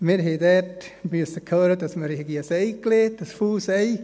Wir haben dort hören müssen, wir hätten «ein Ei gelegt», ein «faules» Ei.